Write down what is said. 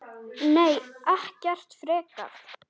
Nei, ekkert frekar.